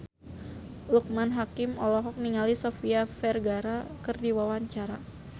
Loekman Hakim olohok ningali Sofia Vergara keur diwawancara